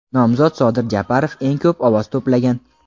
nomzod Sodir Japarov eng ko‘p ovoz to‘plagan.